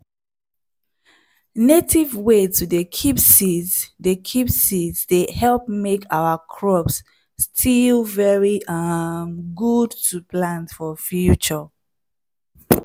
native way to dey keep seeds dey keep seeds dey help make our crops still very um good to plant for future.